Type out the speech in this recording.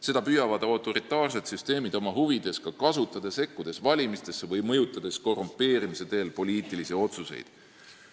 Seda püüavad autoritaarsed süsteemid ka oma huvides kasutada, sekkudes valimistesse või mõjutades korrumpeerimise teel poliitilisi otsuseid.